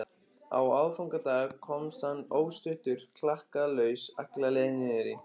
Á aðfangadag komst hann óstuddur klakklaust alla leið niður í